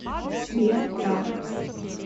сбер тара